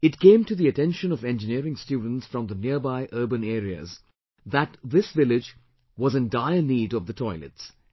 It came to the attention of Engineering students from the nearby urban areas that this village was in dire need of the toilets